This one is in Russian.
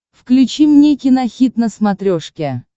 включи мне кинохит на смотрешке